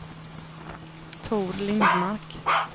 Tor Lindmark